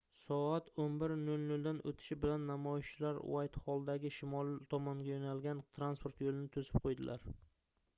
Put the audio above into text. soat 11:00 dan oʻtishi bilan namoyishchilar uaytxolldagi shimol tomonga yoʻnalgan transport yoʻlini toʻsib qoʻydilar